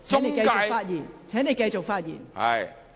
梁議員，請繼續發言。